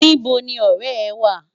Nibò ni òrè è wá?